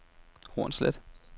Hornslet